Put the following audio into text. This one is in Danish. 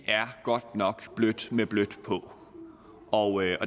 er godt nok blødt med blødt på og